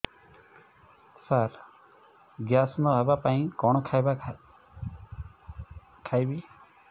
ସାର gas ନ ହେବା ପାଇଁ କଣ ଖାଇବା ଖାଇବି